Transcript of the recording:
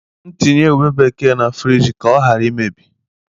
M tinye ubé bekee ahụ na friji ka ọ ghara imebi?